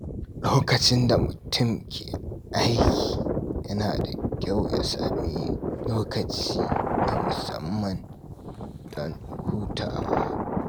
Lokacin da mutum ke aiki, yana da kyau ya sami lokaci na musamman don hutawa.